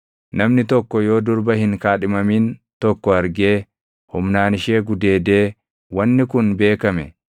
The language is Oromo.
Namni tokko yoo durba hin kaadhimamin tokko argee humnaan ishee gudeedee wanni kun beekame,